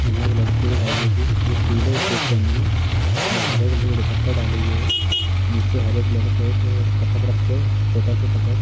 यहाँ एक लड़की दिखाई दे रही है जो पीले सूट पहने हैं और हरे कलर का दुपट्टा डाले हुए है। नीचे हरे कलर का एक तखत रक्खा है छोटा सा तखत।